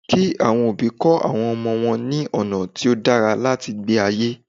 Kí àwọn òbí kọ̀ àwọn ọmọ wọn ní ọ̀nà tí ó dára láti gbé ayé